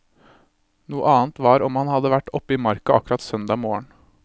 Noe annet var om han hadde vært opp i marka akkurat søndag morgen.